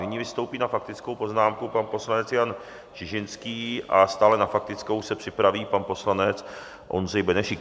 Nyní vystoupí na faktickou poznámku pan poslanec Jan Čižinský a stále na faktickou se připraví pan poslanec Ondřej Benešík.